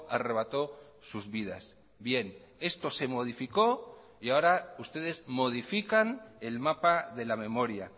arrebató sus vidas bien esto se modificó y ahora ustedes modifican el mapa de la memoria